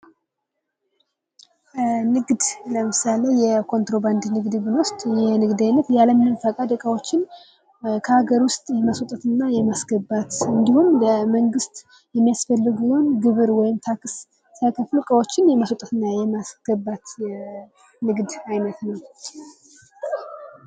ንግድ ለምሳሌ የኮንትሮባንድ ንግድን ብንወስድ ይህ የንግድ አይነት ያለምንም ፈቃድ እቃወችን ከሀገር ውስጥ የማስወጣት እና የማስገባት እንዲሁም ለመንግስት የሚያስፈልገውን ግብር ወይም ታክስ ስይከፍሉ እቃዎችን የማስወጣት እና የማስገባት የንግድ አይነት ነው።